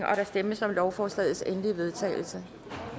stemmes om lovforslagets endelige vedtagelse